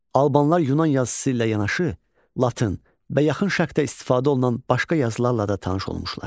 Albanlar Yunan yazısı ilə yanaşı, Latın və yaxın şərqdə istifadə olunan başqa yazılarla da tanış olmuşlar.